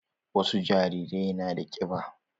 Wasu jarirai na da ƙiba.